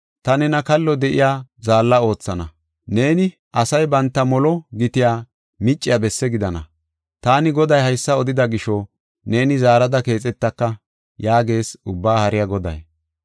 Ta nena kallo de7iya zaalla oothana; neeni asay banta molo gitiya micciya bessi gidana. Taani Goday haysa odida gisho, neeni zaarada keexetaka’ ” yaagees Ubbaa Haariya Goday.